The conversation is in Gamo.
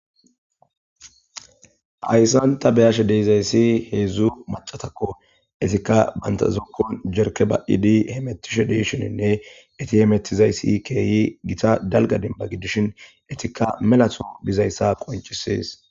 Hayssanta beyashe deezayssi heedzdzu macatakko isikka banta zokkon jerke ba 'idi hemetishe deeshoninne iti hemettizayssi keeyi gita dalga demba gidishin etikka melato dizayssa qoncisees.